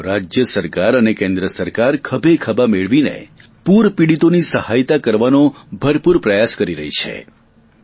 રાજ્ય સરકાર અને કેન્દ્ર સરકાર મળીને પૂર પીડિતોની સહાયતા કરવા માટે ખભેખભા મેળવી મદદ કરવાનો ભરપૂર પ્રયાસ કહી રહી છે